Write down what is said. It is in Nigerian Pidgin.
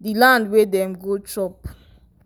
the land wey dem go chop.